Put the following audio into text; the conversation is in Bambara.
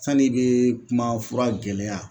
Sani i bɛ kuma fura gɛlɛya